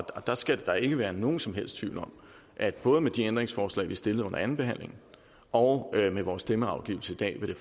og der skal ikke være nogen som helst tvivl om at både med de ændringsforslag vi stillede til anden behandling og med vores stemmeafgivelse i dag vil